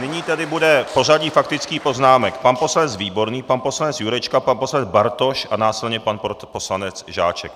Nyní tedy bude pořadí faktických poznámek: pan poslanec Výborný, pan poslanec Jurečka, pan poslanec Bartoš a následně pan poslanec Žáček.